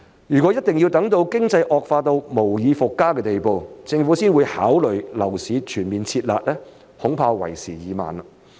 如果一定要等到經濟惡化到無以復加的地步，政府才會考慮樓市全面"撤辣"，恐怕為時已晚。